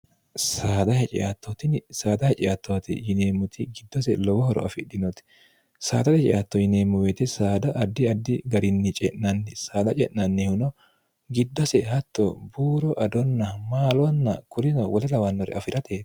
sad hecettootni saada heceattoote yineemmuti giddose lowohoro afidhinooti saada receatto yineemmuweete saada addi addi garinni ce'nanni saada ce'nannihuno giddose hatto buuro adonna maaloanna kulino wole lawannore afi'rate